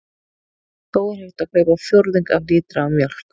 Þó er hægt að kaupa fjórðung af lítra af mjólk.